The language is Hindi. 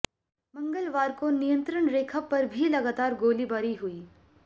मंगलवार को नियंत्रण रेखा पर भी लगातार गोलीबारी हुई